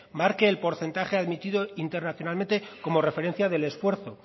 marque el porcentaje admitido internacionalmente como referencia del esfuerzo